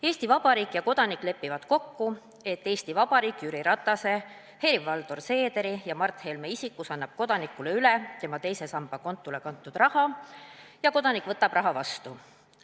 Eesti Vabariik ja Kodanik lepivad kokku, et Eesti Vabariik Jüri Ratase, Helir-Valdor Seederi ja Mart Helme isikutes annab Kodanikule üle tema teise samba kontole kantud raha ja Kodanik võtab raha vastu.